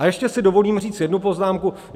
A ještě si dovolím říct jednu poznámku.